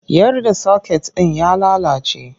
Yar da soket ɗin ya lalace!